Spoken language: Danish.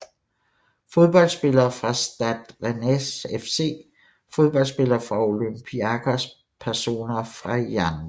Fodboldspillere fra Stade Rennais FC Fodboldspillere fra Olympiakos Personer fra Yaounde